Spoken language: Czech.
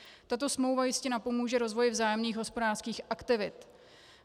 Tato smlouva jistě napomůže rozvoji vzájemných hospodářských aktivit.